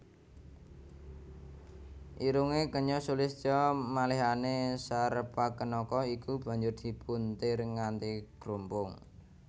Irungé kenya sulistya malihané Sarpakenaka iku banjur dipuntir nganti grumpung